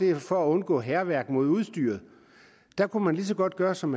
er for at undgå hærværk mod udstyret der kunne man lige så godt gøre som